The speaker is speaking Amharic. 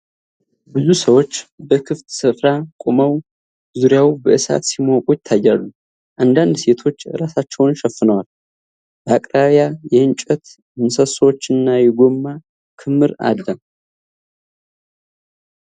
ብዙ ሰዎች በክፍት ስፍራ ቆመው ዙሪያው በእሳት ሲሞቁ ይታያሉ። አንዳንድ ሴቶች ራሳቸውን ሸፍነዋል። በአቅራቢያ የእንጨት ምሰሶዎችና የጎማ ክምር አለ ።